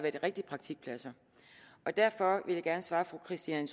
i rigtige praktikpladser derfor vil jeg gerne svare fru christine